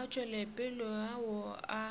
wetšopele ao a